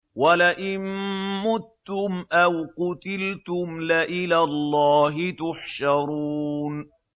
وَلَئِن مُّتُّمْ أَوْ قُتِلْتُمْ لَإِلَى اللَّهِ تُحْشَرُونَ